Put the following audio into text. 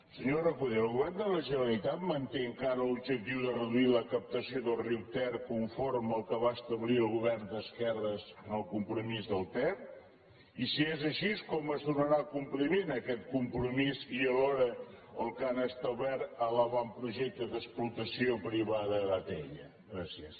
senyor recoder el govern de la generalitat manté encara l’objectiu de reduir la captació del riu ter conforme al que va establir el govern d’esquerres en el compromís del ter i si és així com es donarà compliment a aquest compromís i alhora al que han establert en l’avantprojecte d’explotació privada d’atll gràcies